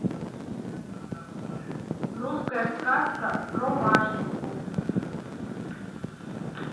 русская сказка про машеньку